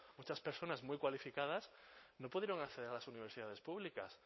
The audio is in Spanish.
muchas personas muy cualificadas no pudieron acceder a las universidades públicas